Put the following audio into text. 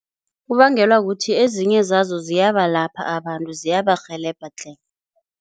Kubangelwa kuthi ezinye zazo ziyabalapha abantu, ziyabarhelebha tle.